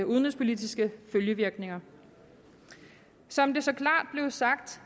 udenrigspolitiske følgevirkninger som det så klart blev sagt